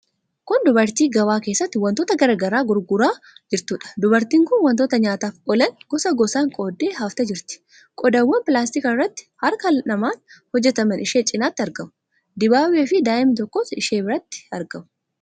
Kun dubartii gabaa keessatti wantoota garaa garaa gurguraa jirtuudha. Dubartiin kun wantoota nyaataaf oolan gosa gosaan qooddee haftee jirti. Qodaawwan pilaastikii irraafi harka namaan hojjetaman ishee cinatti argamu. Dibaabeefi daa'imni tokkos ishee biratti argamu.